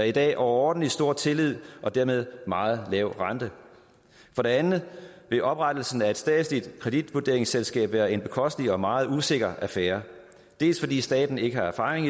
i dag overordentlig stor tillid og dermed meget lav rente for det andet vil oprettelsen af et statsligt kreditvurderingsselskab være en bekostelig og meget usikker affære dels fordi staten ikke har erfaring